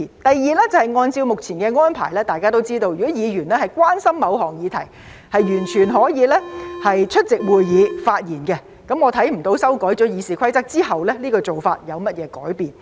第二是按照目前的安排，大家也知道，如果議員關心某項議題，完全可以出席會議發言，我看不到修改《議事規則》後，這做法有何改變。